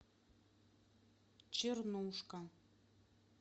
чернушка